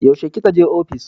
Yaushe ki ka je ofis?